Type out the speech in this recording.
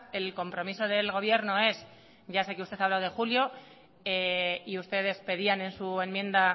el compromiso del gobierno es que ya sé que usted ha hablado de julio y ustedes pedían en su enmienda